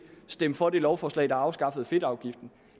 stemme for det lovforslag der afskaffede fedtafgiften